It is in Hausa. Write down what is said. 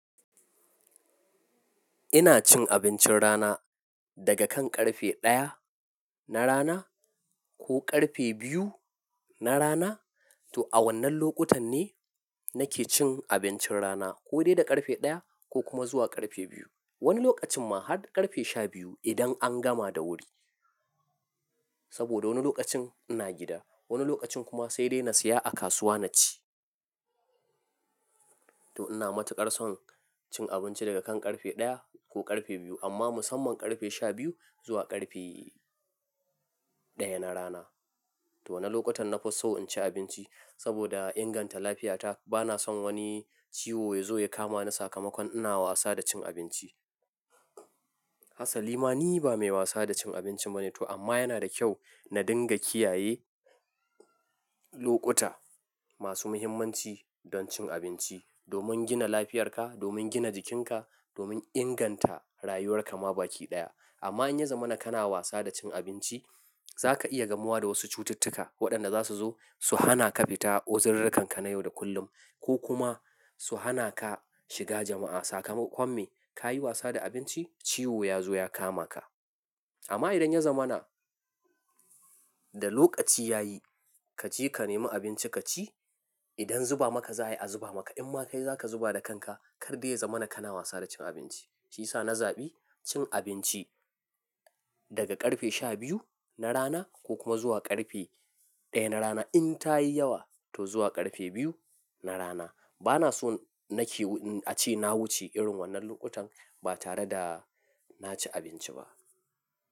Ina cin abincin rana daga kan ƙarfe ɗaya na rana ko ƙarfe biyu na rana. To a wannan lokutan ne, nake cin abincin rana. Ko dai da ƙarfe ɗaya, ko kuma zuwa ƙarfe biyu. Wani lokacin, ma har ƙarfe shabiyu idan an gama da wuri. Saboda wani lokacin ina gida, wani lokacin kuma sai dai na saya a kasuwa na ci. To ina matuƙar son cin abinci daga kan ƙarfe ɗaya ko ƙarfe biyu amma musamman ƙarfe shabiyu zuwa ƙarfe ɗaya na rana. To wanan lokutan na fi so in ci abinci? Saboda inganta lafiyata bana son wani ciwo ya zo ya kama ni sakamakon ina wasa da cin abinci. Hassali ma ni, ba mai wasa da cin abincin bane to amma yana da kyau, na dinga kiyaye, lokuta, masu muhimmanci, don cin abinci domin gina lafiyarka, domin gina jikinka, domin inganta rayuwar ka ma baki ɗaya. Amma in ya zama naka na wasa da cin abinci, za ka iya gamuwa da wasu cututtuka, waɗanda za su zo su hana ka fita ozururka ka na yau da kullum, ko kuma su hana ka shiga jama'a sakamakon me? Ka yi wasa da abinc, i ciwo ya zo ya kama ka. Amma idan ya zama naka, da lokaci ya yi, kaje ka nemi abinci ka ci, idan zuba maka zai a zuba maka, in ba kai zaka zuba da kanka Kar dai ya zamana ka na wasa da cin abinci. Shi yasa na zaɓi cin abinci, daga ƙarfe shabiyu, na rana, ko kuma zuwa ƙarfe ɗaya na rana. In ta yi yawa to zuwa ƙarfe biyu na rana. Bana son nake a ce na wuce irin wannan lokutan, ba tare da, na ci abinci ba.